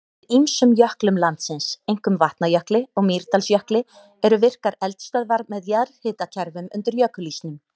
Undir ýmsum jöklum landsins, einkum Vatnajökli og Mýrdalsjökli, eru virkar eldstöðvar með jarðhitakerfum undir jökulísnum.